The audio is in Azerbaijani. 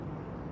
Hamısı.